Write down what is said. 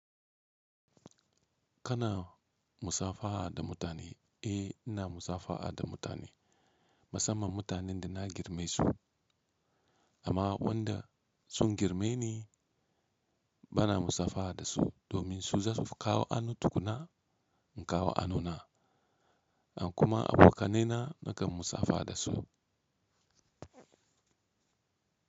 Kana musafaha da mutane? Eh ina musafaha da mutane. Musamman mutanen da na girmasu amma wanda sun girmeni bana musafaha da su, domin su za su kawo hannu tukuna in kawo hanuna, an kuma abokanaina nakan musafaha da su.